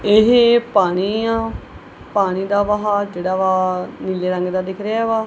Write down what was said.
ਇਹ ਪਾਣੀ ਆ ਪਾਣੀ ਦਾ ਵਹਾ ਜਿਹੜਾ ਵਾ ਨੀਲੇ ਰੰਗ ਦਾ ਦਿਖ ਰਿਹਾ ਵਾ।